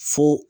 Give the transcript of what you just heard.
Fo